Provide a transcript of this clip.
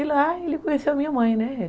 E lá ele conheceu a minha mãe